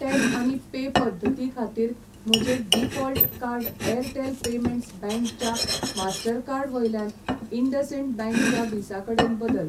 Tap आनी pay पद्दती खातीर म्हजें default card Airtel payments bank च्या मास्टरकार्ड वयल्यान इंडसइंड बँक च्या व्हिसा कडेन बदल.